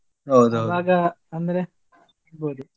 ಅಂದ್ರೆ .